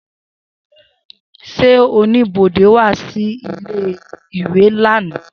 Se onibode wa si ile-iwe lana?